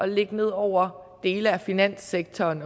lægge ned over dele af finanssektoren